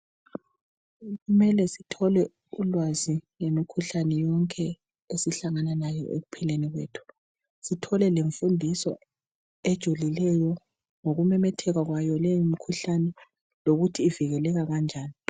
Kumele sithole ulwazi ngemikhuhlane esihlangana layo ekuphileni kwethu, sithole lemfundiso ejulileyo ngokumemetheka kwaleyo mikhuhlane lokuthi ivikeleka kanjani.